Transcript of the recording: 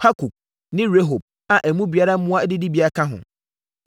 Hukok ne Rehob a na emu biara mmoa adidibea ka ho.